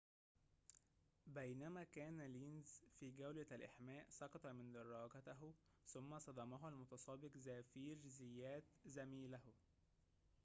بينما كان لينز في جولة الإحماء سقط من دراجته ثم صدمه المتسابق زافيير زيات زميله